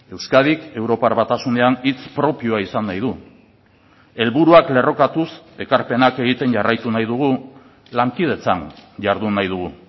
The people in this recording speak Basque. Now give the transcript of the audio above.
euskadik europar batasunean hitz propioa izan nahi du helburuak lerrokatuz ekarpenak egiten jarraitu nahi dugu lankidetzan jardun nahi dugu